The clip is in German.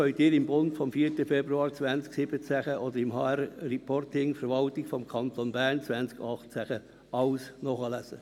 Sie können dies alles im «Bund» vom 4. Februar 2017 oder im «HR-Reporting 2018» des Kantons Bern nachlesen.